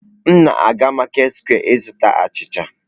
M na-aga maketị sekwe ịzụta achịcha.